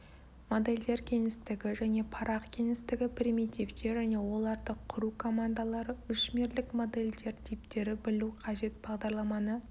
модельдер кеңістігі және парақ кеңістігі примитивтер және оларды құру командалары үшмерлік модельдер типтері білу қажет бағдарламаны